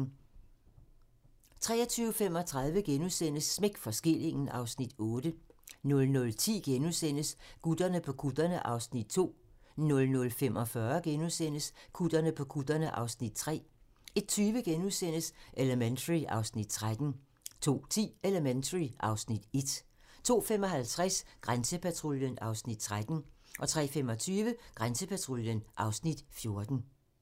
23:35: Smæk for skillingen (Afs. 8)* 00:10: Gutterne på kutterne (Afs. 2)* 00:45: Gutterne på kutterne (Afs. 3)* 01:20: Elementary (Afs. 13)* 02:10: Elementary (Afs. 1) 02:55: Grænsepatruljen (Afs. 13) 03:25: Grænsepatruljen (Afs. 14)